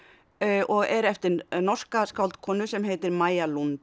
og er eftir norska skáldkonu sem heitir Maja